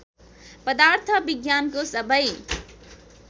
पदार्थ विज्ञानको सबै